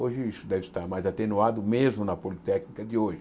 Hoje isso deve estar mais atenuado, mesmo na Politécnica de hoje.